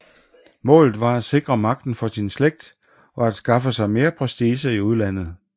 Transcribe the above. Målet var at sikre magten for sin slægt og at skaffe sig mere prestige i udlandet